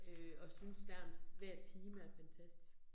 Øh og synes nærmest hver time er fantastisk